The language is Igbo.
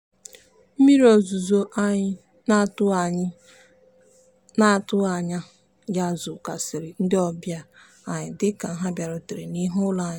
mmiri ozuzo anyị n'atụghị anyị n'atụghị anya ya zokwasịrị ndị ọbịa anyị dịka ha bịarutere n'ihu ụlọ anyị.